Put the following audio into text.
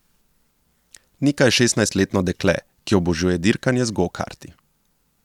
Nika je šestnajstletno dekle, ki obožuje dirkanje z gokarti.